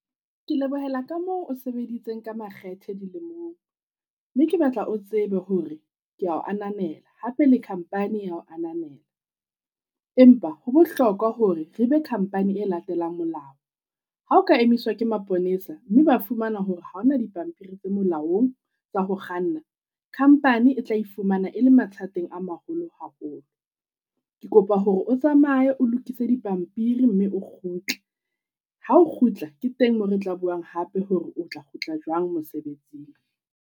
Ke lebohela ka moo o sebeditseng ka makgethe dilemong, mme ke batla o tsebe hore kea ho ananela hape le company ya ho ananela. Empa ho bohlokwa hore re be company e latelang molao, ha o ka emiswa ke maponesa mme ba fumana hore ha o na dipampiri tse molaong tsa ho kganna, company e tla ifumana e le mathateng a maholo haholo. Ke kopa hore o tsamaye o lokise dipampiri mme o kgutle, ha o kgutla ke teng moo re tla buang hape hore o tla kgutla jwang mosebetsing.